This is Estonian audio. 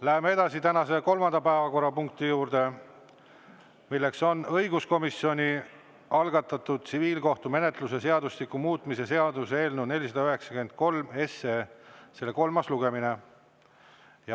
Läheme tänase kolmanda päevakorrapunkti juurde: õiguskomisjoni algatatud tsiviilkohtumenetluse seadustiku muutmise seaduse eelnõu 493 kolmas lugemine.